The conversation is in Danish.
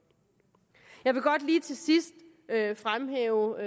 jeg vil godt lige til sidst fremhæve